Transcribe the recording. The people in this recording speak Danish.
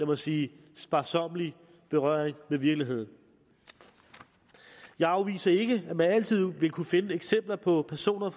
man sige sparsommelig berøring med virkeligheden jeg afviser ikke at man altid vil kunne finde eksempler på personer